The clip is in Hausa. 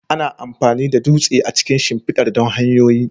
Ana amfani da dutse a cikin shimfidar don hanyoyi.